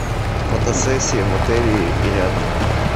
фотосессия в отеле и рядом